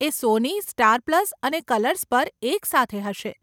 એ Sony, Star Plus અને Colors પર એક સાથે હશે.